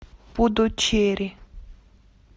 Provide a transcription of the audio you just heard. пудучерри